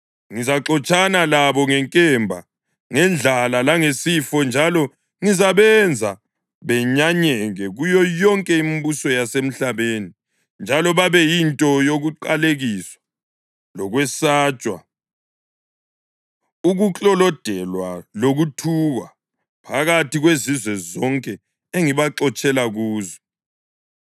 Ngizaxotshana labo ngenkemba, ngendlala langesifo njalo ngizabenza benyanyeke kuyo yonke imibuso yasemhlabeni njalo babe yinto yokuqalekiswa lokwesatshwa, ukuklolodelwa lokuthukwa, phakathi kwezizwe zonke engibaxotshela kuzo.